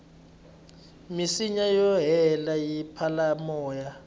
minsinya yo leha yi pfala moya